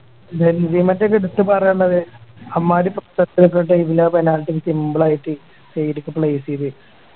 ഡൽഹിയും മറ്റും ഒക്കെ എടുത്ത് പറയണത് അമ്മാതിരി എല്ലാ penalty simple ആയിട്ട് side ഒക്കെ place ചെയ്‌ത്‌